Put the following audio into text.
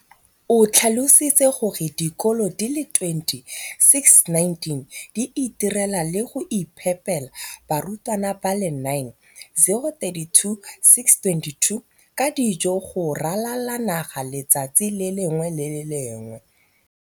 o tlhalositse gore dikolo di le 20 619 di itirela le go iphepela barutwana ba le 9 032 622 ka dijo go ralala naga letsatsi le lengwe le le lengwe.